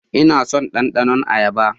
Ina son ɗandanon ayaba.